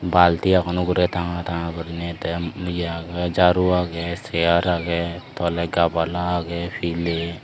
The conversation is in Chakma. balti aagon uguray tga tga gurinay tay jaru aage chare aage tolay gabala aagay pilay.